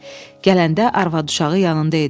Gələndə arvad-uşağı yanında idi.